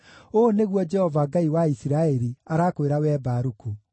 “Ũũ nĩguo Jehova, Ngai wa Isiraeli, arakwĩra wee Baruku: